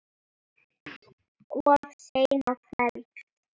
Of seinn á ferð?